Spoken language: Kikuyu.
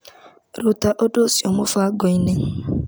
Ruta ũndũ ũcio mũbango-inĩ .